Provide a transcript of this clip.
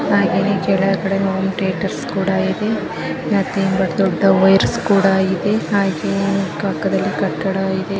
ಹಾಗೆನೆ ಕೆಳಗಡೆ home theatres ಕೂಡ ಇದೆ ಮತ್ತೆ ದೊಡ್ದ ವೈಯರ್ಸ್ ಕೂಡಾ ಇದೆ ಕಟ್ಟಡ ಇದೆ .